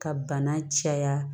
Ka bana caya